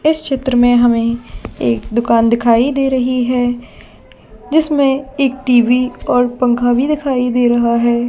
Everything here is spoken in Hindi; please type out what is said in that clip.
इस चित्र में हमे एक दुकान दिखाई दे रही है जिसमे एक टी. वी और पंखा भी दिखाई दे रहा है।